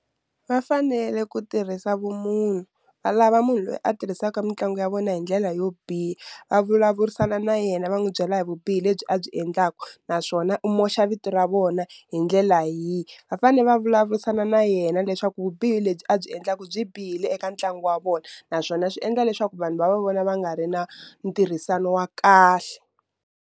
Va fanele ku tirhisa vumunhu va lava munhu loyi a tirhisaka mitlangu ya vona hi ndlela yo biha, va vulavurisana na yena va n'wi byela hi vubihi lebyi a byi endlaku naswona u mosha vito ra vona na hi ndlela yihi va fane va vulavurisana na yena leswaku vubihi lebyi a byi endlaku byi bihile eka ntlangu wa vona naswona swi endla leswaku vanhu va va vona va nga ri na ntirhisano wa kahle.